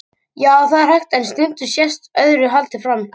Já, það er hægt, en stundum sést öðru haldið fram.